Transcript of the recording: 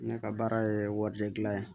Ne ka baara ye wari de gilan ye